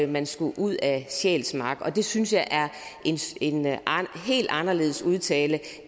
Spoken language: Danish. man skulle ud af sjælsmark det synes jeg er en helt anderledes udtalelse